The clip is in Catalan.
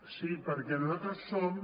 sí perquè nosaltres som